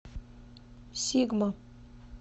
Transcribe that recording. сигма